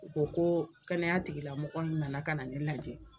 O koo kɛnɛya tigilamɔgɔ n nana kana ne lajɛ